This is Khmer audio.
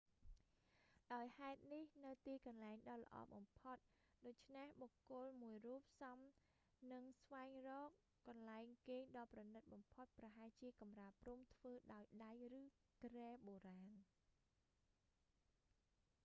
ដោយហេតុនេះ នៅទីកន្លែងដ៏ល្អបំផុតដូច្នេះ បុគ្គលមួយរូបសមនឹងស្វែងរកកន្លែងគេងដ៏ប្រណីតបំផុតប្រហែលជាកម្រាលព្រំធ្វើដោយដៃឬគ្រែបុរាណ